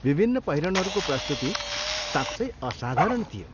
विभिन्न पहिरनहरूको प्रस्तुति साँच्चै असाधारण थियो।